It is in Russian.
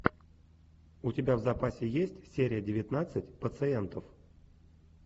у тебя в запасе есть серия девятнадцать пациентов